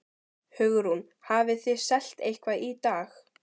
Hugrún: Hafið þið selt eitthvað í dag?